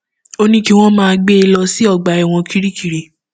ó ní kí wọn máa gbé e lọ sí ọgbà ẹwọn kirikiri